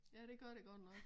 Ja det gør det godt nok